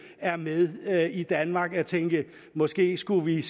er med i danmark og tænker at vi måske skulle